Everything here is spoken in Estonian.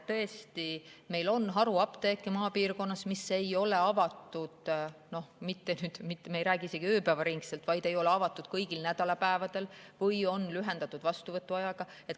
Tõesti, meil on maapiirkonnas haruapteeke, mis ei ole avatud – me ei räägi isegi sellest, et nad ei ole avatud ööpäevaringselt – kõigil nädalapäevadel või on lühendatud ajaga.